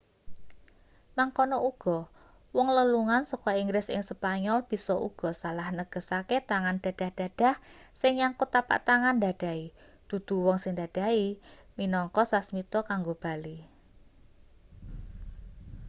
mangkono uga wong lelungan saka inggris ing spanyol bisa uga salah negesake tangan dadah-dadah sing nyangkut tapak tangan ndadahi dudu wong sing didadahi minangka sasmita kanggo bali